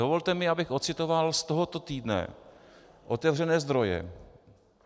Dovolte mi, abych ocitoval z tohoto týdne otevřené zdroje.